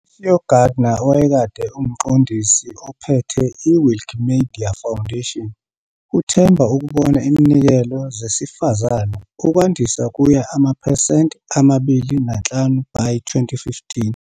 Sue Gardner, owayekade umqondisi ophethe iWikimedia Foundation, uthemba ukubona iminikelo zesifazane ukwandisa kuya amaphesenti amabili nanhlanu by 2015.